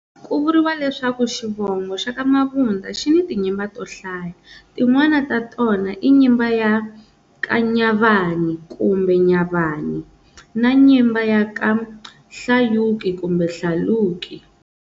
Ku vuriwa leswaku xivongo xa ka Mabunda xi ni ti nyimba to hlaya, tin'wana ta tona I nyimba ya ka Nyavani kumbe Nyabane na nyimba ya ka Hlayuki kumbe Hlaluki.